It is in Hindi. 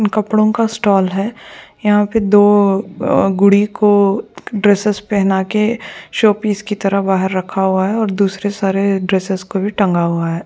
कपड़ो का स्टाल है यहाँ दो गुड़ी को ड्रेसेस पेहना के शो पीस के तरह बाहर रखा हुआ है और दुसरे सारे ड्रेसेस को भी बाहर टंगा हुआ है।